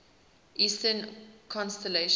eastern constellations